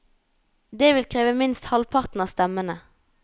Det vil kreve minst halvparten av stemmene.